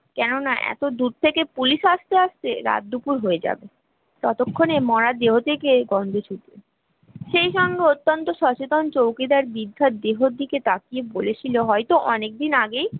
কেননা এতদূর থেকে, police আস্তে আস্তে রাত দুপুর হয়ে যাবে ততক্ষণে এমরা দহেবটি কে সেইসঙ্গে অত্যন্ত সচেতন চৌকিদার দীর্ঘদেহ দিকে তাকিয়ে বলেছিল হয়তো অনেকদিন আগেই